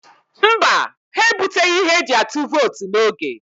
Mba, ha ebuteghị ihe eji atụ vootu n'oge.